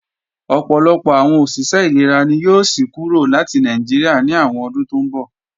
Ọ̀pọ̀lọpọ̀ àwọn òṣìṣẹ́ ìlera ni yóò sí kúrò láti Nàìjíríà ní àwọn ọdún tó ńbọ̀